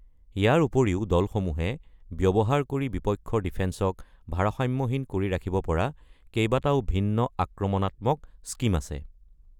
ইয়াৰ উপৰিও দলসমূহে ব্যৱহাৰ কৰি বিপক্ষৰ ডিফেন্সক ভাৰসাম্যহীন কৰি ৰাখিব পৰা কেইবাটাও ভিন্ন আক্ৰমণাত্মক স্কীম আছে।